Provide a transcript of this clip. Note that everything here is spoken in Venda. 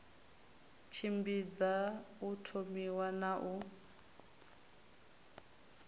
tshimbidza u thomiwa na u